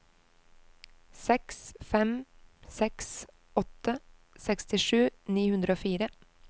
seks fem seks åtte sekstisju ni hundre og fire